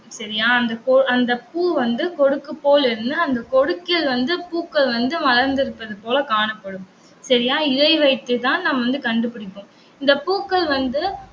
சரியா அந்த கொ~ அந்த பூ வந்து கொடுக்கு போல் இருந்து அந்த கொடுக்கில் வந்து பூக்கள் வந்து மலர்ந்திருப்பது போல காணப்படும். சரியா இதை வைத்துதான் நம்ம வந்து கண்டுபிடிப்போம். இந்த பூக்கள் வந்து